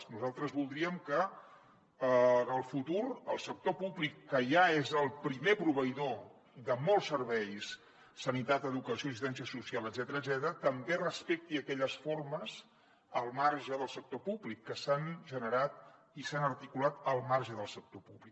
nosaltres voldríem que en el futur el sector públic que ja és el primer proveïdor de molts serveis sanitat educació assistència social etcètera també respectés aquelles formes al marge del sector públic que s’han generat i s’han articulat al marge del sector públic